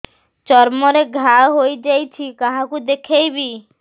ଚର୍ମ ରେ ଘା ହୋଇଯାଇଛି କାହାକୁ ଦେଖେଇବି